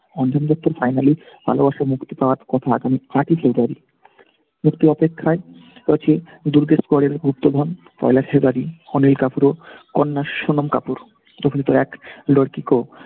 অঞ্জন দত্তর finally ভালোবাসা মুক্তি পাওয়ার কথা এখন । একটু অপেক্ষায় রয়েছি দুর্গের পরের গুপ্তধন বাড়ি অনিল কাপুর ও কন্যা সোনাম কাপুর তখন তার এক লড়কি কো